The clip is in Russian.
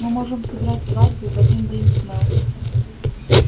мы можем сыграть свадьбу в один день с мел